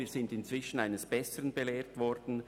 wir sind unterdessen eines besseren belehrt worden.